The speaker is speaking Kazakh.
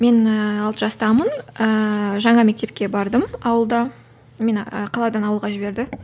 мен ііі алты жастамын ііі жаңа мектепке бардым ауылда мені қаладан ауылға жіберді